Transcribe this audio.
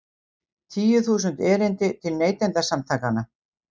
Tíu þúsund erindi til Neytendasamtakanna